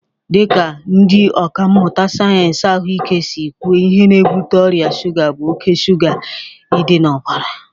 Dị ka ndị ọkà mmụta sayensị ahụike si kwuo, ihe na-ebute ọrịa shuga bụ oke shuga ị dị n'ọbara